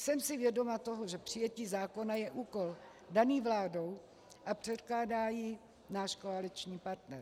Jsem si vědoma toho, že přijetí zákona je úkol daný vládou a předkládá jej náš koaliční partner.